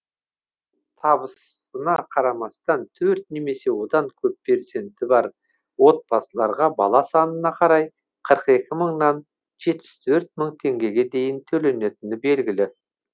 қазір табысына қарамастан төрт немесе одан көп перзенті бар отбасыларға бала санына қарай қырық екі мыңнан жетпіс төрт мың теңгеге дейін төленетіні белгілі